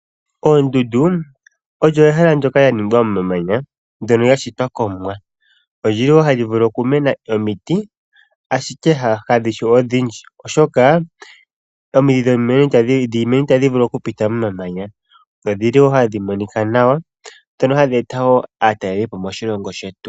Oondundu olyo ehela ndoka lyaningwa momamanya ndyoka lyashitwa kOmwa. Oli li hali vulu okumena omiti ashike kadhi shi odhindji, oshoka omiidhi dhiimeno itadhi vulu okupita momamanya, na odhili hadhi monika nawa dhoka hadhi eta aatalelipo moshilongo shetu.